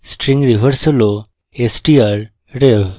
string reverse হল strrev